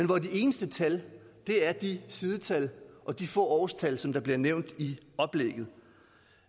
hvor de eneste tal er de sidetal og de få årstal som bliver nævnt i oplægget